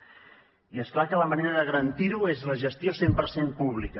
i és clar que la manera de garantir ho és la gestió cent per cent pública